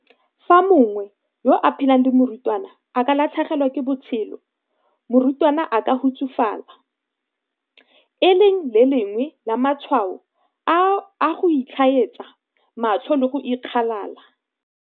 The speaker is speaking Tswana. "Fa mongwe yo a phelang le morutwana a ka latlhegelwa ke botshelo, morutwana a ka hutsafala, e leng le lengwe la matshwao a go itlhaetsa matlho le go ikgalala."